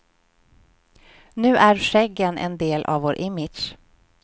Nu är skäggen en del av vår image.